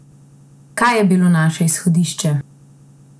Kaj je bilo naše izhodišče?